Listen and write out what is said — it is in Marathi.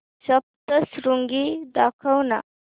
सप्तशृंगी दाखव ना